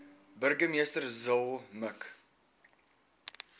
burgemeester zille mik